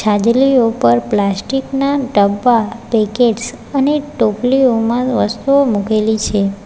હાજલીઓ પર પ્લાસ્ટિક ના ડબ્બા પેકેટ્સ અને ટોપલીઓમાં વસ્તુઓ મૂકેલી છે.